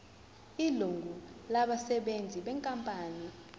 ilungu labasebenzi benkampani